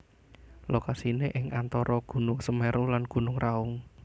Lokasiné ing antara Gunung Semeru lan Gunung Raung